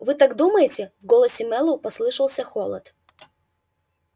вы так думаете в голосе мэллоу послышался холод